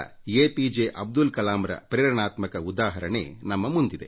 A P J Abdul ಕಲಾಂರ ಪ್ರೇರಣೆಯ ಉದಾಹರಣೆ ಇದೆ